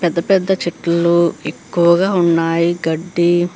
పెద్ద పెద్ద చెట్లు ఎక్కువగా ఉన్నాయి. గడ్డి --